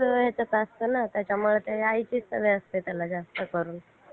हा